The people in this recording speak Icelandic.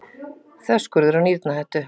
Þverskurður af nýrnahettu.